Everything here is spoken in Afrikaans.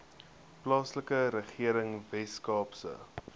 plaaslike regering weskaapse